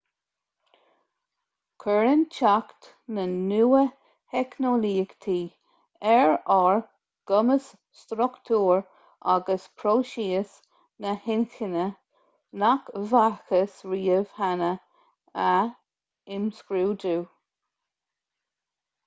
cuireann teacht na nua-theicneolaíochtaí ar ár gcumas struchtúr agus próisis na hinchinne nach bhfacthas riamh cheana a imscrúdú